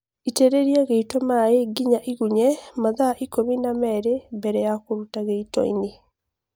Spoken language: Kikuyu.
Itĩrĩlia gĩito maĩĩ nginya ĩgunye mathaa ikũmi na melĩ mbele ya kũruta gĩitoinĩ